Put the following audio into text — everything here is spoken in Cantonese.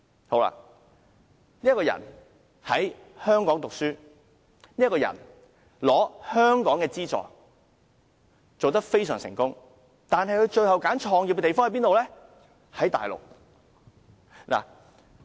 他在香港讀書，並獲得香港的資助，生意做得非常成功，但他最終卻選擇在大陸創業。